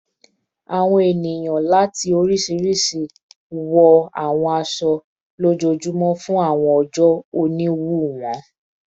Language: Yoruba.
Awọn eniyan lati oriṣiriṣi oriṣiriṣi wọ awọn aṣọ-aṣọ lojoojumọ fun awọn oojọ oniwun wọn